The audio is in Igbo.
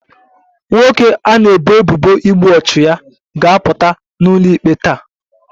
Nwoke a na-ebo ebubo igbu ọchụ ya ga-apụta n'ụlọikpe taa